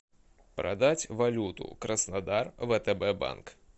продать валюту краснодар втб банк